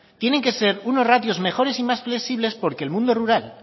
tienen que ser unos ratios mejores y más flexibles porque el mundo rural